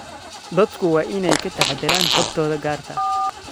Dadku waa inay ka taxadaraan xogtooda gaarka ah.